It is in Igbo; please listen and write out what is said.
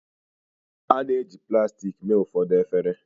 a na-eji plastik mee ụfọdụ efere